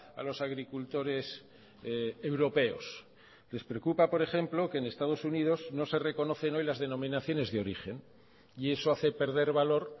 a los agricultores europeos les preocupa por ejemplo que en estados unidos no se reconocen hoy las denominaciones de origen y eso hace perder valor